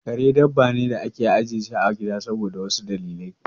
Kare dabba ne da ake ajiye shi a gida saboda wasu dalilai.